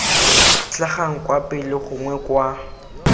tlhagang kwa pele gongwe kwa